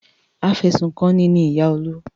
Afẹ̀sùnkanni ni ìyá Olú.